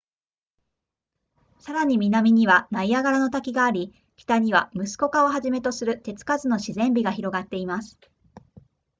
さらに南にはナイアガラの滝があり北にはムスコカをはじめとする手つかずの自然美が広がっています